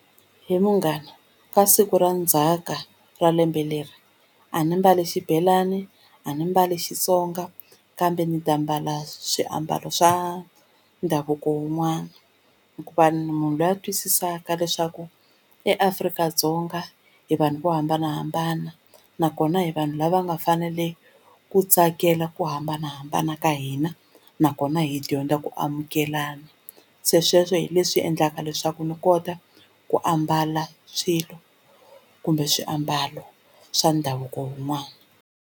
He munghana ka siku ra ndzhaka ra lembe leri a ni mbali xibelani a ni mbali Xitsonga kambe ndzi ta mbala swiambalo swa ndhavuko wun'wana hikuva ni munhu luya a twisisaka leswaku eAfrika-Dzonga hi vanhu vo hambanahambana nakona hi vanhu lava nga fanele ku tsakela ku hambanahambana ka hina nakona hi dyondza ku amukelana se sweswo hi leswi endlaka leswaku ni kota ku ambala swilo kumbe swiambalo swa ndhavuko wun'wana.